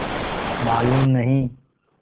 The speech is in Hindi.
मालूम नहीं